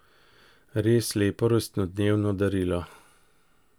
Res lepo rojstnodnevno darilo.